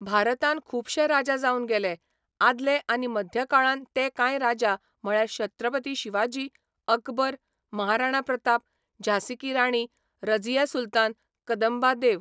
भारतांन खुबशे राजा जावन गेले आदले आनी मध्य काळान ते कांय राजा म्हळ्यार छत्रपती शिवाजी ,अकबर ,महाराणा प्रताप, झासी की राणी, रजिया सुलतान, कंदबा देव